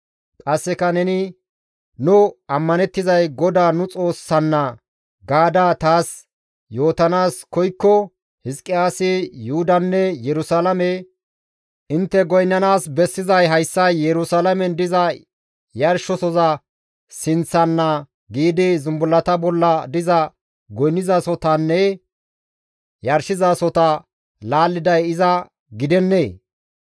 Qasseka neni, ‹Nu ammanettizay GODAA nu Xoossanna› gaada taas yootanaas koykko Hizqiyaasi Yuhudanne Yerusalaame, ‹Intte goynnanaas bessizay hayssa Yerusalaamen diza yarshosoza sinththana› giidi zumbullata bolla diza goynnizasohotanne yarshizasohota laalliday iza gidennee?